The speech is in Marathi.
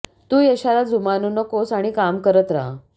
तू यशाला जुमानु नकोस आणि काम करत रहा